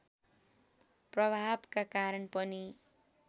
प्रभावका कारण पनि